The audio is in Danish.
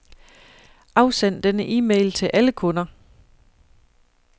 Afsend denne e-mail til alle kunder.